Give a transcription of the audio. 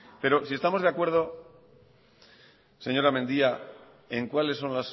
pero si estamos de acuerdo señora mendia en cuáles son